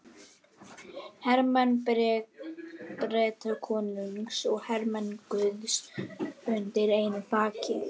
Hermenn Bretakonungs og hermenn guðs undir einu þaki.